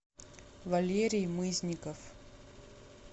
валерий мызников